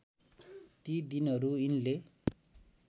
ती दिनहरू यिनले